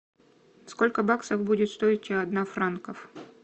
сколько баксов будет стоить одна франков